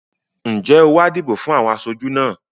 Ǹjẹ́ o wá dìbò fún àwọn aṣojú náà?